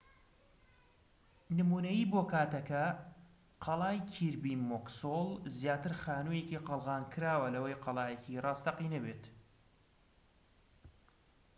نمونەیی بۆ کاتەکە قەڵای کیربی موکسۆل زیاتر خانوویەکی قەڵغانکراوە لەوەی قەڵایەکی ڕاستەقینە بێت